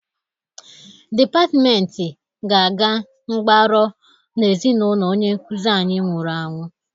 Depatmenti ga-aga mgbaro n'ezinaụlọ onye nkuzi anyị nwụrụ anwụ.